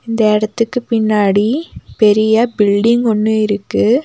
இந்த இடத்துக்கு பின்னாடி பெரிய பில்டிங் ஒன்னு இருக்கு.